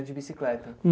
De bicicleta?